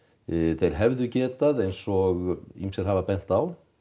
þeir hefðu getað eins og ýmsir hafa bent á